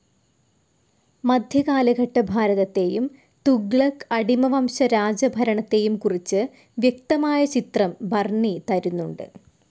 മദ്ധ്യകാലഘട്ട ഭാരതത്തെയും, തുഗ്ലക്ക്, അടിമ വംശ രാജഭരണത്തെയും കുറിച്ച് വ്യക്തമായ ചിത്രം ബർണി തരുന്നുണ്ട്.